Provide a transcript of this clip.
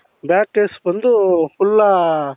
back case ಬಂದು full ಆ .......